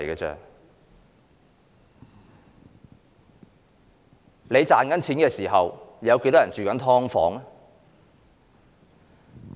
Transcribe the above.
在你賺錢的時候，有多少人正住在"劏房"呢？